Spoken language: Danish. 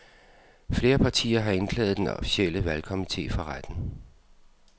Flere partier har indklaget den officielle valgkomite for retten.